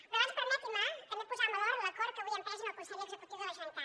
però abans permetin me també posar en valor l’acord que avui hem pres en el consell executiu de la generalitat